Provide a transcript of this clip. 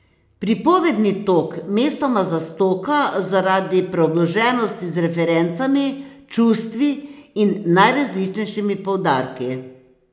Pripovedni tok mestoma zastoka zaradi preobloženosti z referencami, čustvi in najrazličnejšimi poudarki.